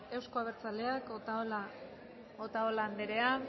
euzko abertzaleak otalora andrea